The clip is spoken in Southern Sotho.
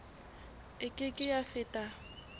e ke ke ya feta